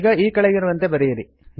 ಈಗ ಈ ಕೆಳಗಿರುವಂತೆ ಬರೆಯಿರಿ